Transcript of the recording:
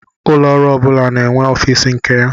Ụlọ ọrụ ọbula na-enwe office nke ya.